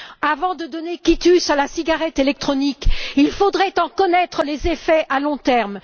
Avant de donner quitus à la cigarette électronique, il faudrait en connaître les effets à long terme.